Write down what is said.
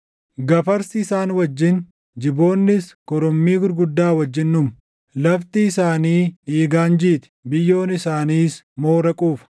Gafarsi isaan wajjin, jiboonnis korommii gurguddaa wajjin dhumu. Lafti isaanii dhiigaan jiiti; biyyoon isaaniis moora quufa.